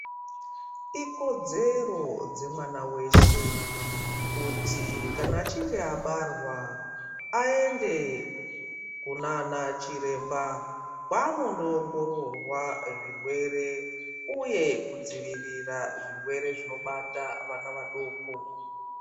Ikodzero dzemwana weshe, kuti kana echinge abarwa, aende kunana chiremba kwaanondoongororwa zvirwere uye kudzivirira zvirwere zvinobata vana adoko.